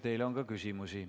Teile on ka küsimusi.